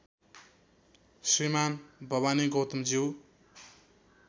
श्रीमान् भवानी गौतम ज्यू